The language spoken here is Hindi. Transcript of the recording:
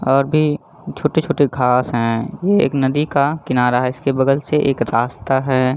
और भी छोटे - छोटे घास है ये एक नदी का किनारा है इसके बगल से एक रास्ता है।